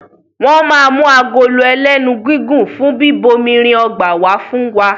Wọ́n ma mú agolo ẹlénu gígùn fún bíbomirin ọgbà wá fún wa